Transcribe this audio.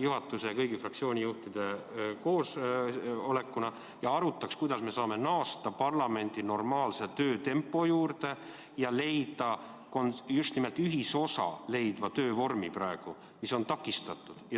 juhatuse ja kõigi fraktsioonijuhtide koosolek ja arutaks, kuidas me saame naasta parlamendi normaalse töötempo juurde ja leida ühisosana töövorm, mis ei oleks takistatud.